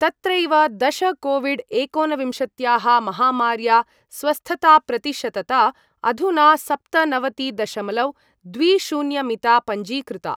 तत्रैव, दश कोविड् एकोनविंशत्याः महामार्या स्वस्थताप्रतिशतता अधुना सप्तनवतिदशमलवद्विशून्यमिता पञ्जीकृता।